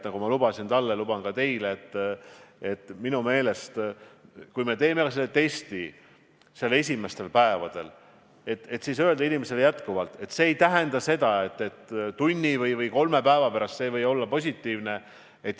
Nagu lubasin talle, luban ka teile, et minu meelest, kui me teeme selle testi esimestel päevadel, siis tuleb jätkuvalt inimesele öelda, et see ei tähenda veel seda, et tunni või kolme päeva pärast ei või see juba positiivne olla.